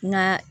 Nka